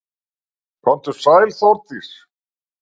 Komdu sæl Þórdís.